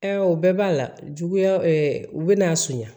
o bɛɛ b'a la juguya u bɛ n'a sonya